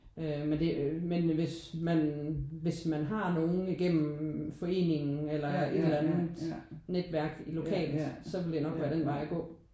Øh men det øh men hvis man hvis man har nogen igennem foreningen eller et eller andet netværk lokalt så ville det nok være den vej at gå